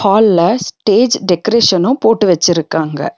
ஹால்ல stage decoration போட்டு வெச்சிருக்காங்க.